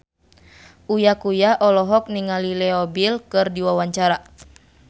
Uya Kuya olohok ningali Leo Bill keur diwawancara